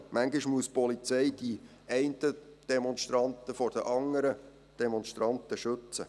Manchmal muss die Polizei die einen Demonstranten vor den anderen Demonstranten schützen.